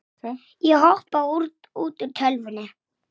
Borgin var mestöll í rústum.